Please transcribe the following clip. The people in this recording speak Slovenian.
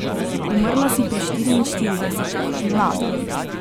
Umrla si pri štiriinštiridesetih, mlada.